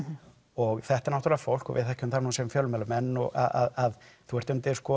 og þetta er náttúrulega fólk og við þekkjum það nú sem fjölmiðlamenn að þú ert undir